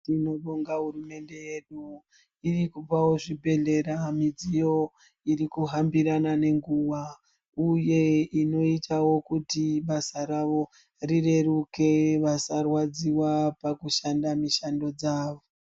Tinobonga hurumende yedu irikupawo zvibhedhlera midziyo irikuhambirana ngenguva uye inoitawo kuti basa ravo rireruke vasarwadziwa pakushanda mishando dzavo.